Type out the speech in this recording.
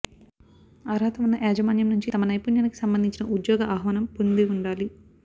అర్హత ఉన్న యాజమాన్యం నుంచి తమ నైపుణ్యానికి సంబంధించిన ఉద్యోగ ఆహ్వానం పొంది ఉండాలి